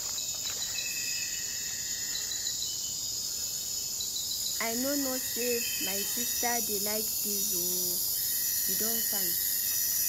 I no know say my sister dey like dis oo she don fine.